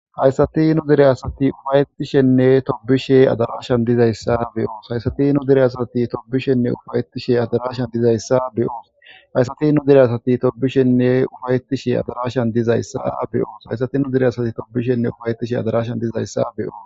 Hayssati nu dire asati ufayetishenne tobishe adarashan dizayssa beyoos hayssati nu dire asati tobishenne ufayetishe adarashan dizayssa beyoos hayssati nu dire asati tobishenne ufayetishe adarashan dizayssa beyoos hayssati nu dire asati tobishenne ufayetishe adarashan dizayssa beyoos